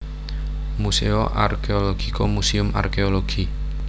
Museo Archeologico Museum Arkéologi